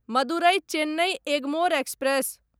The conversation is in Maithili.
मदुरै चेन्नई एगमोर एक्सप्रेस